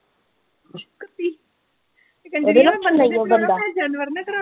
ਜਾਨਵਰ ਨੇ ਖਰਾਬ ਕਰਤੀ।